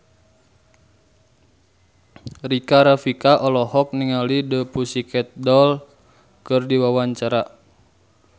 Rika Rafika olohok ningali The Pussycat Dolls keur diwawancara